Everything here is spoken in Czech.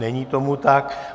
Není tomu tak.